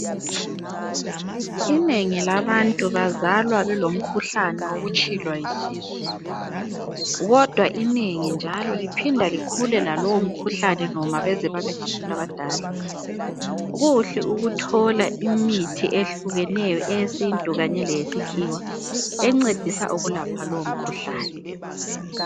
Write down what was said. Inengi labantu bazalwa belomkhuhlane wokutshilwa yisisu .Kodwa inengi njalo liphinda likhule lalowo mkhuhlane noma baze babe ngabantu abadala. Kuhle ukuthola imithi ehlukeneyo eyesintu kanye leyesikhiwa encedisa ukulapha lowomkhuhlane.